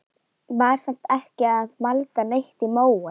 Var samt ekki að malda neitt í móinn.